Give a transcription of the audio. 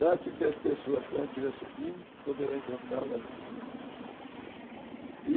Trate-me as pessoas quando estiver subindo que poderá encontrar lá de cima.